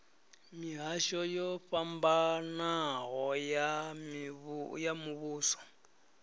mihasho yo fhambanaho ya muvhuso